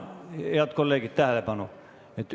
Head kolleegid, tähelepanu!